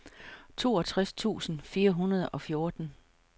toogtres tusind fire hundrede og fjorten